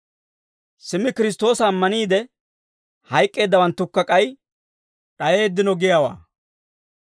Simmi Kiristtoosa ammaniide hayk'k'eeddawanttukka k'ay d'ayeeddino giyaawaa.